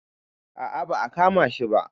a a ba a kama shi ba